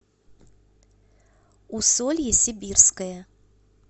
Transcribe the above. усолье сибирское